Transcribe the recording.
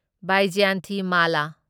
Vyjayanthimala